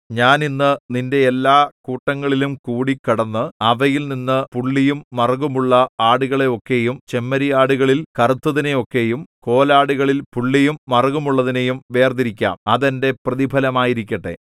ഞാൻ ഇന്ന് നിന്റെ എല്ലാകൂട്ടങ്ങളിലുംകൂടി കടന്ന് അവയിൽ നിന്ന് പുള്ളിയും മറുകുമുള്ള ആടുകളെ ഒക്കെയും ചെമ്മരിയാടുകളിൽ കറുത്തതിനെയൊക്കെയും കോലാടുകളിൽ പുള്ളിയും മറുകുമുള്ളതിനെയും വേർതിരിക്കാം അത് എന്റെ പ്രതിഫലമായിരിക്കട്ടെ